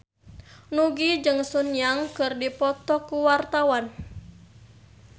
Nugie jeung Sun Yang keur dipoto ku wartawan